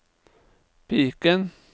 piken